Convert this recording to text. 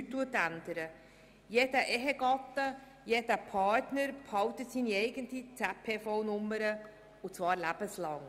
Jeder Ehegatte und jeder Partner behält seine ZPV-Nummer und das lebenslang.